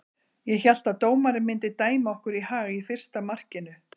Ég hélt að dómarinn myndi dæma okkur í hag í fyrsta markinu.